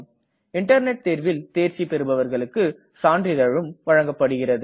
internet தேர்வில் தேர்ச்சி பெருபவர்களுக்கு சான்றிதழும் வழங்கப்படுகிறது